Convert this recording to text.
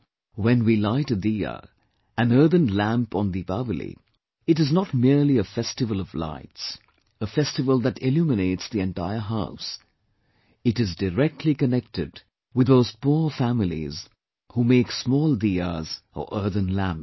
When we light a 'diya', an earthen lamp on Deepawali, it is not merely a festival of lights, a festival that illuminates the entire house; it is directly connected with those poor families who make small 'diyas' or earthen lamps